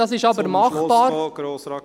Prêles ist aber machbar.